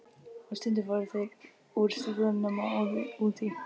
Og stundum fóru þeir úr stígvélunum og óðu út í.